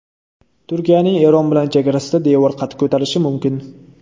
Turkiyaning Eron bilan chegarasida devor qad ko‘tarishi mumkin.